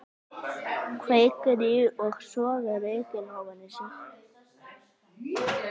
Kveikir í og sogar reykinn ofan í sig.